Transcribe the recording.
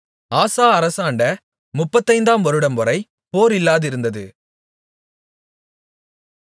ஆசா அரசாண்ட முப்பத்தைந்தாம் வருடம்வரை போர் இல்லாதிருந்தது